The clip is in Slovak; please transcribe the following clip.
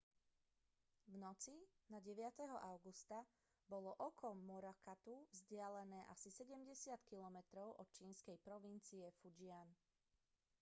v noci na 9. augusta bolo oko morakotu vzdialené asi sedemdesiat kilometrov od čínskej provincie fujian